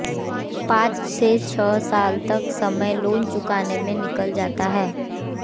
पांच से छह साल तक समय लोन चुकाने में निकल जाता है